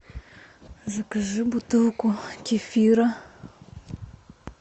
закажи бутылку кефира